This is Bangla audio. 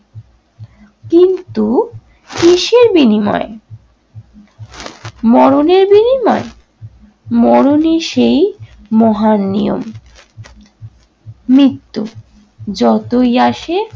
কিন্তু কিসের বিনিময়ে? মরণের বিনিময়ে? মরণই সেই মহান নিয়ম। মৃত্যু যতই আসে